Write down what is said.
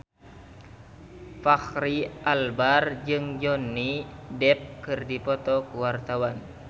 Fachri Albar jeung Johnny Depp keur dipoto ku wartawan